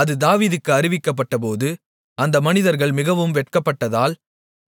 அது தாவீதுக்கு அறிவிக்கப்பட்டபோது அந்த மனிதர்கள் மிகவும் வெட்கப்பட்டதால்